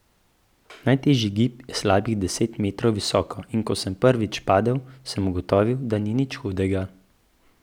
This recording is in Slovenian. Najtežji gib je slabih deset metrov visoko, in ko sem prvič padel, sem ugotovil, da ni nič hudega.